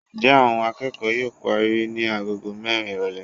njẹ awón akeko yóò parí ni àgọ́gọ́ mẹrin irolè.